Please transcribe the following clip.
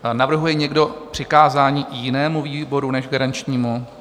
Navrhuje někdo přikázání jinému výboru než garančnímu?